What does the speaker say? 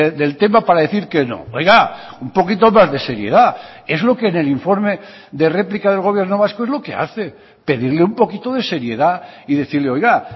del tema para decir que no oiga un poquito más de seriedad es lo que en el informe de réplica del gobierno vasco es lo que hace pedirle un poquito de seriedad y decirle oiga